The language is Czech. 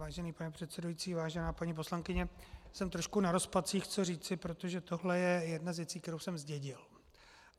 Vážený pane předsedající, vážená paní poslankyně, jsem trošku na rozpacích, co říci, protože tohle je jedna z věcí, kterou jsem zdědil.